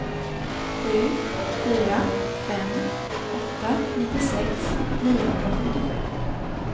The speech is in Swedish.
sju fyra fem åtta nittiosex niohundrasjuttiosju